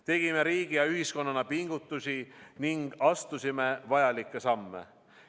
Tegime riigi ja ühiskonnana pingutusi ning astusime vajalikke samme.